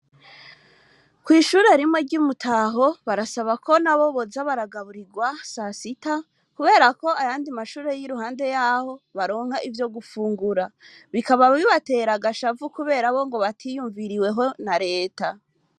Kw’ishure rimwe, ry'i Mutaho, barasaba ko, nabo boza baragaburirwa sasita, kubera ko, ayandi mashure, y'iruhande y'aho, baronka ivyo gufungura; bikaba bibatera agashavu, kubera bo, ngo batiyumviriweho na leta.